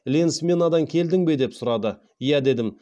ленсменадан келдің бе деп сұрады иә дедім